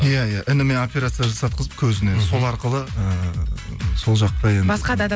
иә иә ініме операция жасатқызып көзіне мхм сол арқылы ііі сол жақта басқа да